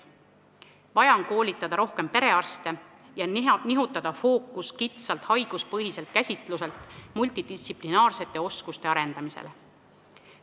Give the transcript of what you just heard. Vaja on koolitada rohkem perearste ja nihutada fookus kitsalt haiguspõhiselt käsitluselt multidistsiplinaarsete oskuste arendamisele.